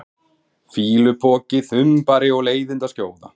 fýlupoki, þumbari og leiðindaskjóða?